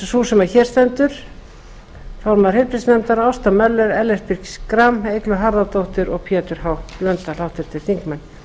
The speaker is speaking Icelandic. sú sem hér stendur formaður heilbrigðisnefndar ásta möller ellert b schram eygló harðardóttir og pétur h blöndal háttvirtir þingmenn